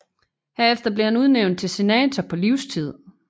Herefter blev han udnævnt til senator på livstid